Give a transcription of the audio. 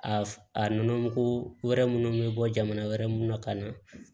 A a nɔnɔ mugu wɛrɛ munnu bɛ bɔ jamana wɛrɛ mun na ka na